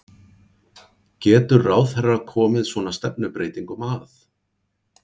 Getur ráðherra komið svona stefnubreytingum að?